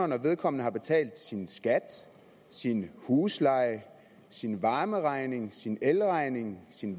når vedkommende har betalt sin skat sin husleje sin varmeregning sin elregning sin